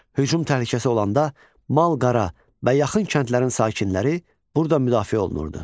Hücum təhlükəsi olanda mal-qara və yaxın kəndlərin sakinləri burda müdafiə olunurdu.